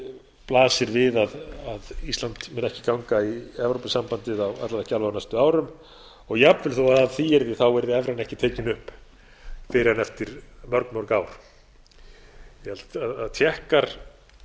enda blasir við að ísland mun ekki ganga í evrópusambandið alla vega á næstu árum og jafnvel þó að af því yrði evran ekki tekin upp fyrr en eftir mörg ár ég held að tékkar